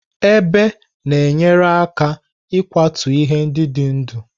Ebe na-enyere aka n'ịkwatu ihe ndị dị ndụ.